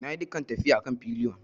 Na yi dukan tafiya a kan pillion.